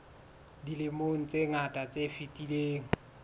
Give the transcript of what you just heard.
dilemong tse ngata tse fetileng